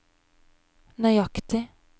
nøyaktig